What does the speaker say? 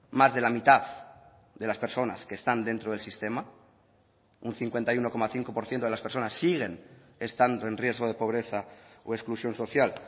más de la mitad de las personas que están dentro del sistema un cincuenta y uno coma cinco por ciento de las personas siguen estando en riesgo de pobreza o exclusión social